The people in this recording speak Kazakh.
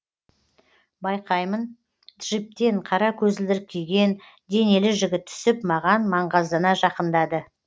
байқаймын джиптен қара көзілдірік киген денелі жігіт түсіп маған маңғаздана жақындады